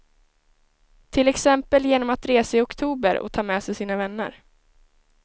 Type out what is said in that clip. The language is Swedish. Till exempel genom att resa i oktober och ta med sig sina vänner.